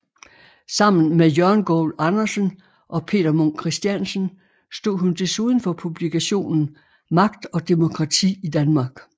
Sammen med Jørgen Goul Andersen og Peter Munk Christiansen stod hun desuden for publikationen Magt og demokrati i Danmark